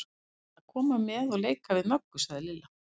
Ég ætla að koma með og leika við Möggu, sagði Lilla.